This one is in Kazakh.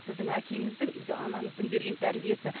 сіздің әкеңіздің үйде анаңыздың берген тәрбиесі